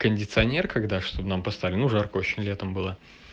кондиционер когда чтобы нам поставили ну жарко очень летом было